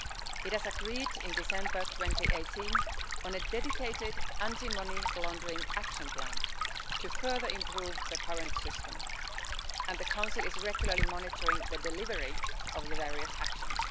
It agreed, in December 2018, on a dedicated anti-money laundering action plan to further improve the current system, and the Council is regularly monitoring the delivery of the various actions.